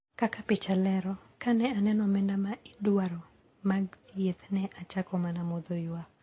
Kaka picha lero, ka ne aneno omenda ma ne idwaro mag thieth ne achako mana modho ywak